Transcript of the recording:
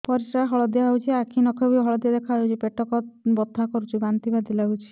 ପରିସ୍ରା ହଳଦିଆ ହେଉଛି ଆଖି ନଖ ବି ହଳଦିଆ ଦେଖାଯାଉଛି ପେଟ ବଥା ହେଉଛି ବାନ୍ତି ବାନ୍ତି ଲାଗୁଛି